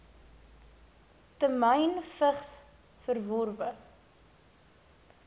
temyn vigs verworwe